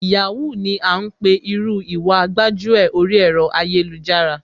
Yahoo ni à ńpè irú Ìwà gbájúẹ̀ oríi ẹ̀rọ ayélujára,